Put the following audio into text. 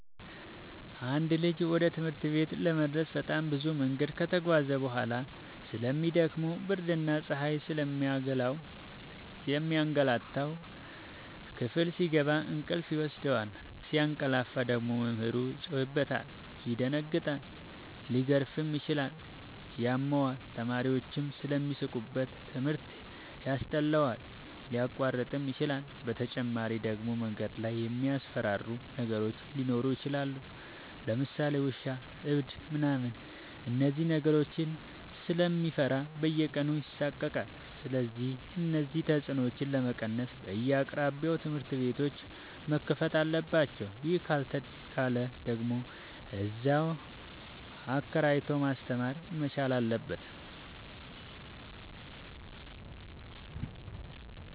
አንድ ልጅ ወደ ትምህርት ቤት ለመድረስ በጣም ብዙ መንገድ ከተጓዘ በጣም ስለሚ ደክመው ብርድና ፀሀዩ ስለሚያገላታው። ክፍል ሲገባ እንቅልፍ ይወስደዋል። ሲያቀላፍ ደግሞ መምህሩ ይጮህበታል ይደነግጣል ሊገረፍም ይችላል ያመዋል፣ ተማሪዎችም ስለሚሳለቁበት ትምህርት ያስጠላዋል፣ ሊያቋርጥም ይችላል። በተጨማሪ ደግሞ መንገድ ላይ የሚያስፈራሩ ነገሮች ሊኖሩ ይችላሉ ለምሳሌ ውሻ እብድ ምናምን እነዚህን ነገሮች ስለሚፈራ በየቀኑ ይሳቀቃል። ስለዚህ እነዚህን ተፅኖዎች ለመቀነስ በየአቅራቢያው ትምህርት ቤቶዎች መከፈት አለባቸው ይህ ካልተቻለ ደግሞ እዚያው አከራይቶ ማስተማር መቻል አለበት።